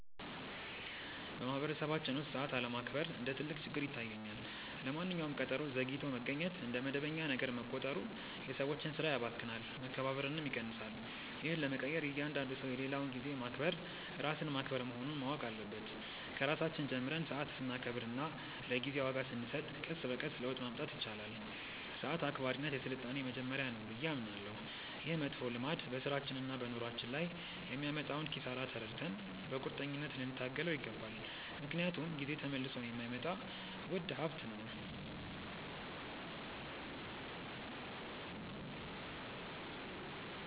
በማኅበረሰባችን ውስጥ ሰዓት አለማክበር እንደ ትልቅ ችግር ይታየኛል። ለማንኛውም ቀጠሮ ዘግይቶ መገኘት እንደ መደበኛ ነገር መቆጠሩ የሰዎችን ሥራ ያባክናል፣ መከባበርንም ይቀንሳል። ይህን ለመቀየር እያንዳንዱ ሰው የሌላውን ጊዜ ማክበር ራስን ማክበር መሆኑን ማወቅ አለበት። ከራሳችን ጀምረን ሰዓት ስናከብርና ለጊዜ ዋጋ ስንሰጥ ቀስ በቀስ ለውጥ ማምጣት ይቻላል። ሰዓት አክባሪነት የሥልጣኔ መጀመሪያ ነው ብዬ አምናለሁ። ይህ መጥፎ ልማድ በሥራችንና በኑሯችን ላይ የሚያመጣውን ኪሳራ ተረድተን በቁርጠኝነት ልንታገለው ይገባል፤ ምክንያቱም ጊዜ ተመልሶ የማይመጣ ውድ ሀብት ነው።